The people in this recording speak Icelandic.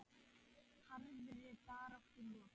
Harðri baráttu lokið.